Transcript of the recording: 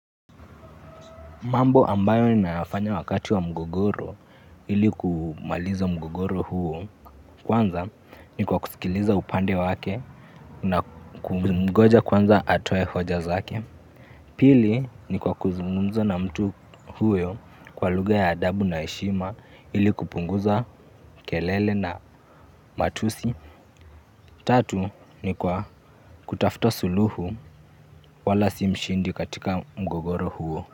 Mambo ambayo ninayafanya wakati wa mgogoro ili kumaliza mgogoro huo. Kwanza ni kwa kusikiliza upande wake na kumngoja kwanza atoe hoja zake. Pili ni kwa kuzungumza na mtu huyo kwa lugha ya adabu na heshima ili kupunguza kelele na matusi tatu ni kwa kutafuta suluhu wala si mshindi katika mgogoro huo.